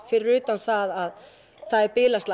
fyrir utan að það er